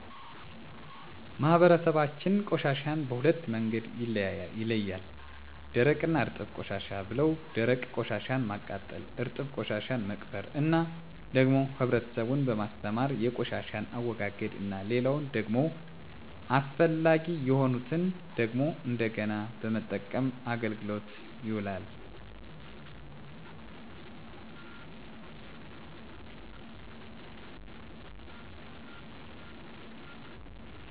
ማህበረሰባችን ቆሻሻን በሁለት መንገድ ይለያል ደረቅ እና እርጥብ ቆሻሻ ብለው ደረቅ ቆሻሻን ማቃጠል እርጥብ ቆሻሻን መቅበር እና ደግሞ ህብረተሰቡን በማስተማር የቆሻሻን አወጋገድ እና ሌላው ደግሞ አስፈላጊ የሆኑትን ደግሞ እንደገና በመጠቀም አገልግሎት ይውላሉ ለምሳሌ ፕላስቲክ አይነት ጎማዎችን በመጠቀም አቅልጠው ለተለያየ ነገር ይውላሉ እናም ለማህበረሰቡ ትምህርት እየሰጠን ጥቅም ለይ እንድውል እየተጠቀሙት ይገኛሉ እሄን መንገድ ማንኛውም ነገር ጥቅም እንዳለው ሁሉ ተገንዝቦ እየተጠቀመበት ይገኛል